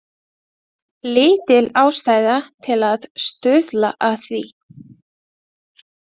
Lítil ástæða til að stuðla að því.